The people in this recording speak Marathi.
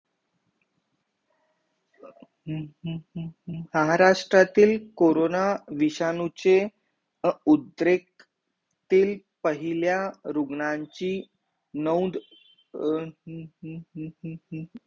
हम्म हम्म हम्म हम्म महाराष्ट्रातील कोरोना विषाणूचे अं उद्रेक तील पहिला रुग्णाची नऊद अं हम्म हम्म हम्म हम्म